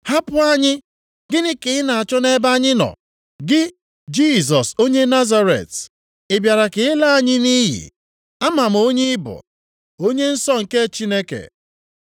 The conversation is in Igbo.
“Hapụ anyị! Gịnị ka ị na-achọ nʼebe anyị nọ, gị, Jisọs onye Nazaret? Ị bịara ka ị laa anyị nʼiyi? Ama m onye ị bụ, Onye Nsọ nke Chineke!”